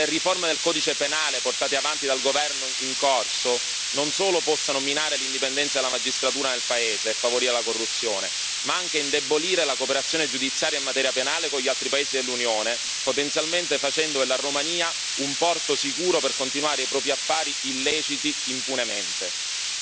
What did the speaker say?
Temo che le riforme del Codice penale portate avanti dal governo in corso non solo possano minare l'indipendenza della magistratura nel paese e favorire la corruzione, ma anche indebolire la cooperazione giudiziaria in materia penale con gli altri paesi dell'Unione, potenzialmente facendo della Romania un porto sicuro per continuare i propri affari illeciti impunemente.